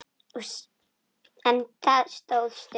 En það stóð stutt.